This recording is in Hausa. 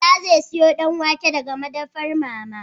Bala zai siyo Danwake daga madafar mama